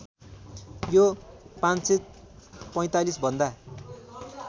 यो ५४५ भन्दा